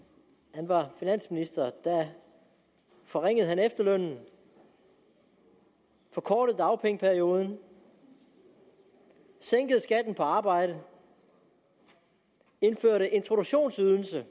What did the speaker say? han var finansminister forringede han efterlønnen forkortede dagpengeperioden sænkede skatten på arbejde indførte introduktionsydelsen